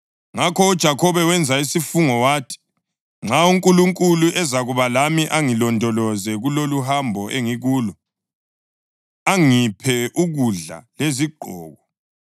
Ngakho uJakhobe wenza isifungo wathi, “Nxa uNkulunkulu ezakuba lami angilondoloze kuloluhambo engikulo, angiphe ukudla lezigqoko,